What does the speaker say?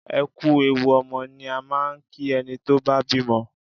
Ẹ kú ewu ọmọ ni a máa ń kí ẹni tó bá bímọ.